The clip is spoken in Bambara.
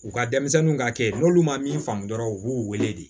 U ka denmisɛnninw ka kɛ n'olu ma min faamu dɔrɔn u b'u wele de